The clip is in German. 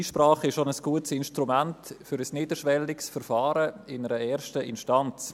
Die Einsprache ist auch ein gutes Instrument für ein niederschwelliges Verfahren in einer ersten Instanz.